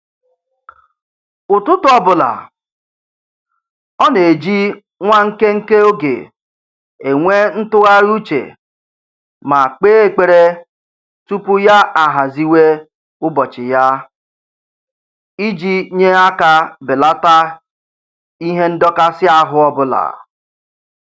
Ụtụtụ ọbụla, ọ na-eji nwa nkenke oge enwe ntụgharị uche ma kpee ekpere tupu ya ahaziwe ụbọchị ya iji nye aka belata ihe ndọkasị ahụ ọbụla